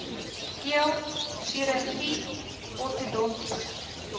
keel chirurgie ortodontiese